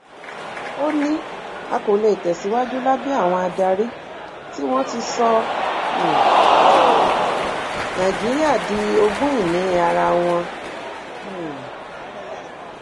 ó ní a kò lè tẹ síwájú lábẹ àwọn adarí tí wọn ti sọ um nàìjíríà di ogúnìní ara wọn um